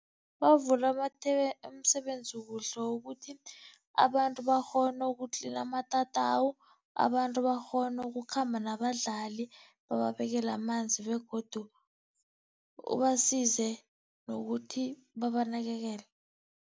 Bavula amathe be umsebenzi kuhle, wokuthi abantu bakghone ukutlina amatatawu, abantu bakghone ukukhamba nabadlali bababekele amanzi begodu ubasize nokuthi babanakekele.